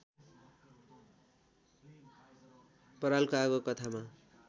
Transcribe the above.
परालको आगो कथामा